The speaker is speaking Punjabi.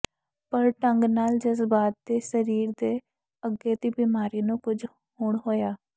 ਪਰ ਢੰਗ ਨਾਲ ਜਜ਼ਬਾਤ ਦੇ ਸਰੀਰ ਦੇ ਅੱਗੇ ਦੀ ਬਿਮਾਰੀ ਨੂੰ ਕੁਝ ਹੁਣ ਹੋਇਆ